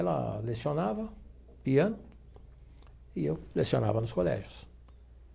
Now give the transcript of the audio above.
Ela lecionava piano e eu lecionava nos colégios.